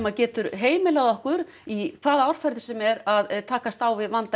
getur heimilað okkur í hvaða árferði sem er að takast á við vanda